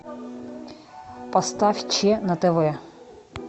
поставь че на тв